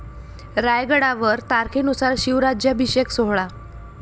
रायगडावर तारखेनुसार शिवराज्याभिषेक सोहळा